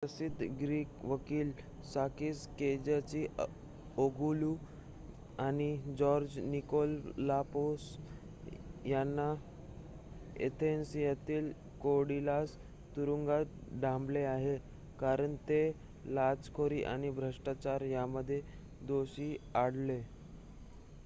प्रसिद्ध ग्रीक वकील Sakis Kechagioglou आणि जॉर्ज निकोलाकापोलस यांना अथेन्स येथील कोरीडालस तुरुंगात डांबले आहे कारण ते लाचखोरी आणि भ्रष्टाचार यामध्ये दोषी आढळले